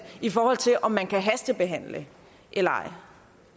i forhold til om man kan hastebehandle dem eller